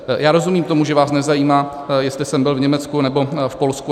Já rozumím tomu, že vás nezajímá, jestli jsem byl v Německu nebo v Polsku.